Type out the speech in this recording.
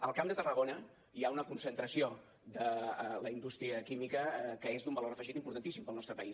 al camp de tarragona hi ha una concentració de la indústria química que és d’un valor afegit importantíssim pel nostre país